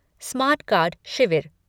smart card शिविर